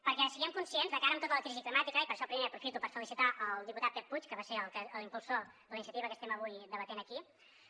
perquè siguem conscients de cara a tota la crisi climàtica i per això primer aprofito per felicitar el diputat pep puig que va ser l’impulsor de la iniciativa que estem avui debatent aquí